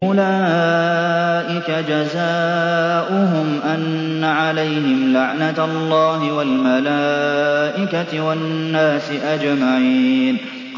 أُولَٰئِكَ جَزَاؤُهُمْ أَنَّ عَلَيْهِمْ لَعْنَةَ اللَّهِ وَالْمَلَائِكَةِ وَالنَّاسِ أَجْمَعِينَ